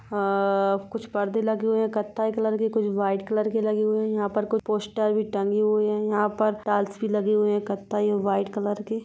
अअअ कुछ परदे लगे हुए हैं कत्थई कलर के कुछ वाइट कलर के लगे हुए हैं यहाँ पर कुछ पोस्टर भी टंगे हुए हैं यहाँ पर टाइल्स भी लगी हुई हैं कत्थई वाइट कलर के--